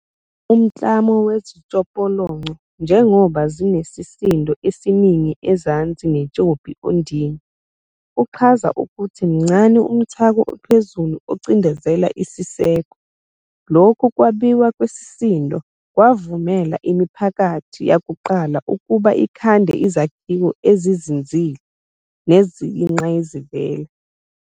Umklamo wezitshopolonco, njengoba zinesisindo esiningi ezansi netshopi ondini, uchaza ukuthi mncane umthako ophezulu ocindizela isiseko. Lokhu kwabiwa kwesisindo kwavumela imiphakathi yakuqala ukuba ikhande izakhiwo ezizinzile neziyingqayizivele.